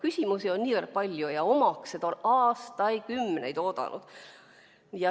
Küsimusi on palju ja omaksed on aastakümneid oodanud.